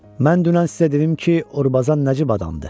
Mən dünən sizə dedim ki, Urbazan nəcib adamdır.